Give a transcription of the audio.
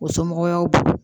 O somɔgɔw y'aw bolo